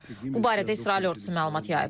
Bu barədə İsrail ordusu məlumat yayıb.